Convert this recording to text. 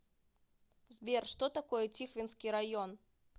сбер что такое тихвинский район